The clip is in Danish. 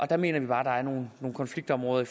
der mener vi bare at der er nogle konfliktområder